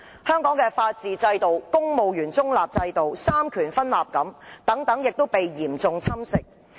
香港的法治、公務員中立和三權分立制度已被嚴重侵蝕。